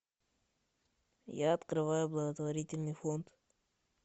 я открываю благотворительный фонд